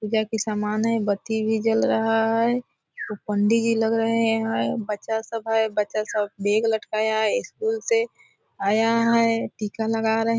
पूजा की सामान है एक बत्ती भी जल रहा है जो पंडी जी लग रहे हैं यहाँ बच्चा सब है बच्चा सब बेग लटकाया हैं स्कूल से आया है टीका लगा रहे --